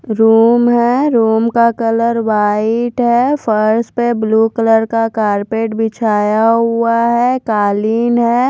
Room है room का colour white है फर्श पे ब्लू कलर का कार्पेट बिछाया गया है कालीन है।